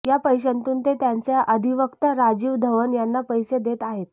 या पैशांतून ते त्यांचे अधिवक्ता राजीव धवन यांना पैसे देत आहेत